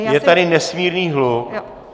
Je tady nesmírný hluk.